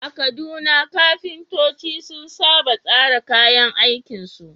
A Kaduna, kafintoci sun saba tsara kayan aikinsu.